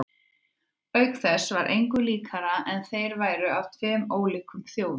Auk þess var engu líkara en þeir væru af tveim ólíkum þjóðum.